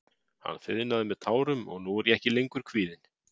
Hann þiðnaði með tárum og nú er ég ekki lengur kvíðinn.